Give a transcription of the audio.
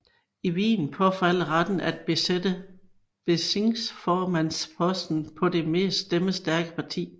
I Wien påfalder retten til at besætte bezirksformandsposten det mest stemmestærke parti